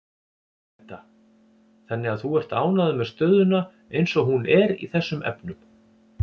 Edda: Þannig að þú ert ánægður með stöðuna eins og hún er í þessum efnum?